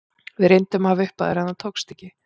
Við reyndum að hafa upp á þér en það tókst ekki.